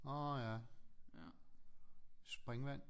Orh ja springvand